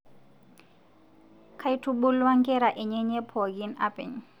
Kaitubulwua nkera enyenye pookin apeny